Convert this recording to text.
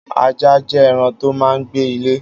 Ajá jẹ̀ ẹran tó mà n gbé ilé